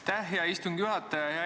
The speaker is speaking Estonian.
Aitäh, hea istungi juhataja!